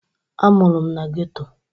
A mụrụ m na geto.